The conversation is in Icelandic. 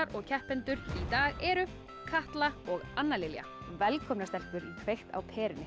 og keppendur í dag eru Katla og Anna Lilja velkomnar stelpur í kveikt á perunni